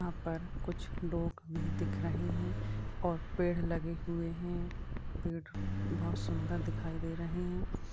यहाँ पर कुछ लोग भी दिख रहे हैं और पेड़ लगे हुए हैंपेड़ बहोत सुंदर दिखाई दे रहे हैं।